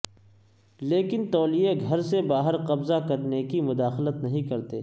لیکن تولیے گھر سے باہر قبضہ کرنے کی مداخلت نہیں کرتے